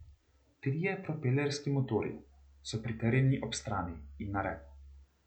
Trije propelerski motorji so pritrjeni ob strani in na repu.